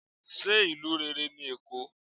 se ìlú rere ní Èko?